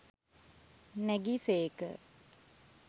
නැගි සේක.